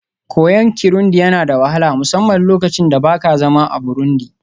koyon Kirundi yana da wahala, musamman lokacin da ba ka zama a Burundi